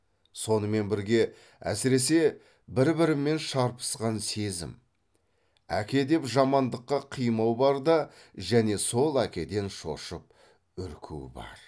сонымен бірге әсіресе бір бірімен шарпысқан сезім әке деп жамандыққа қимау бар да және сол әкеден шошып үрку бар